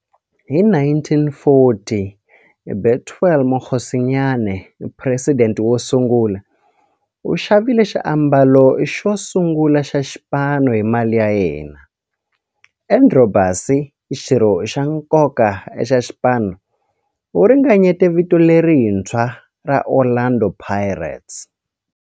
Hi 1940, Bethuel Mokgosinyane, president wosungula, u xavile xiambalo xosungula xa xipano hi mali ya yena. Andrew Bassie, xirho xa nkoka xa xipano, u ringanyete vito lerintshwa ra 'Orlando Pirates'.